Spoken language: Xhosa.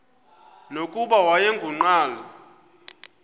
nokuba wayengu nqal